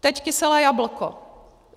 Teď kyselé jablko.